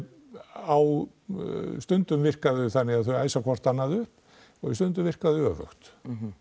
á stundum virka þau þannig að þau æsa hvort annað upp en stundum virka þau öfugt